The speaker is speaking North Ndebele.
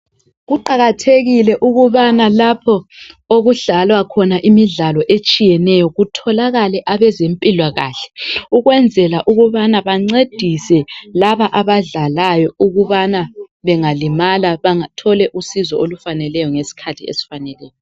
Kuqakathekile ukubana lapho okudlalwa khona imidlalo etshiyeneyo kutholakale abezempilakahle. Ukwenzela ukubana bancedise laba abadlalayo ukubana bengalimala bathole usizo olufaneleyo ngesikhathi esifaneleyo.